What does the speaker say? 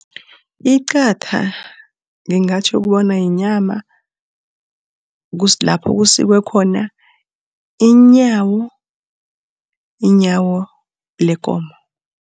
Iqatha ngingatjho bona yinyama lapho kusikwe khona inyawo lekomo.